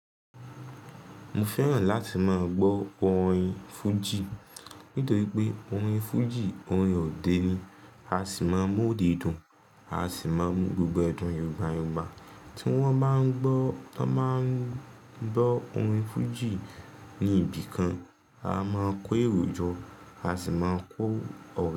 Mo fẹ́ràn láti máa gbó orin fújì, nítorí pé orin fújì orin òde ni, a sì máa ń mú òdedun. A sì máa ń mú gbogbo edún yungbá yungbá tí wọ́n bá ń gbọ́, wọ́n máa ń gbọ́ orin fújì ní ibì kan, a máa ń kó èrò jọ, a sì máa ń kó ọ̀rẹ́.